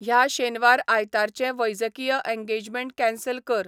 ह्या शेनवार आयतारचे वैजकीय एन्गेजमेंट कॅंसल कर